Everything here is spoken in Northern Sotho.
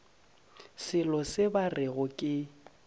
selo se ba rego ke